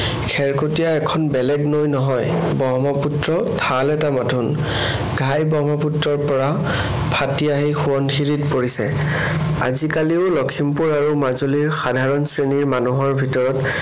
খেৰকটীয়া এখন বেলেগ নৈ নহয়, ব্ৰহ্মপুত্ৰৰ ঠাল এটা মাথোন। ঘাই ব্ৰহ্মপুত্ৰৰ পৰা ফাটি আহি সোৱণশিৰিত পৰিছে। আজি কালিও লখিমপুৰ আৰু মাজুলীৰ সাধাৰণ শ্ৰেণীৰ মানুহৰ ভিতৰত